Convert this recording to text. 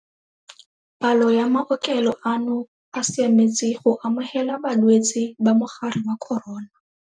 Palo ya maokelo ano a siametse go amogela balwetse ba mogare wa corona.